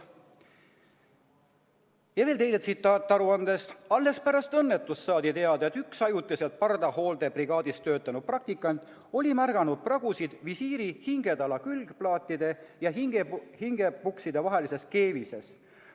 " Ja veel teine tsitaat aruandest: "Pärast õnnetust saadi teada, et üks ajutiselt pardahooldebrigaadis töötanud praktikant oli märganud pragusid visiiri hingetala külgplaatide ja hingepukside vahelises keevises.